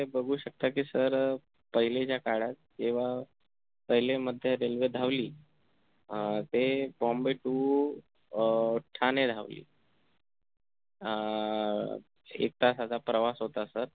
बघू शकता कि sir अह पहीलेच्या काळात जेव्हा पहिली मध्य railway धावली अं ते bombay to अं ठाणे धावली अं एक तासाचा प्रवास होता sir